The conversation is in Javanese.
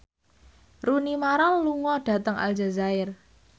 Rooney Mara lunga dhateng Aljazair